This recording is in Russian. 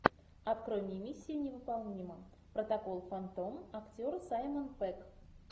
открой мне миссия невыполнима протокол фантом актер саймон пегг